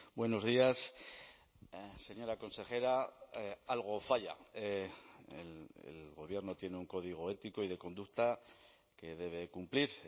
buenos días señora consejera algo falla el gobierno tiene un código ético y de conducta que debe cumplir